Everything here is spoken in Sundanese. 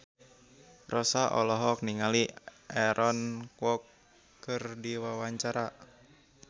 Rossa olohok ningali Aaron Kwok keur diwawancara